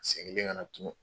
Seginn ka na tugun